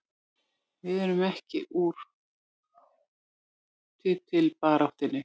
Við erum ekki úr titilbaráttunni